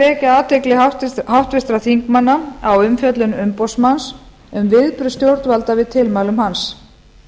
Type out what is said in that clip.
vekja athygli háttvirtra þingmanna á umfjöllun umboðsmanns um viðbrögð stjórnvalda við tilmælum hans